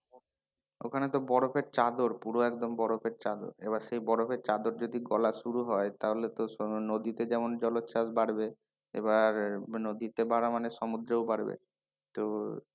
ওখানে তো বরফের চাদর পুরো একদম বরফের চাদর, এবার সেই বরফের চাদর যদি গলা শুরু হয় তাহলে তো নদীতে যেমন জলোচ্ছ্বাস বাড়বে এবার নদীতে বারা মানে সমুদ্রেও বাড়বে এবার,